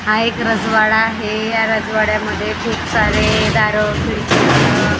हा एक राजवाडा आहे या राजवाड्यामध्ये खूप सारे दार खिडकी अह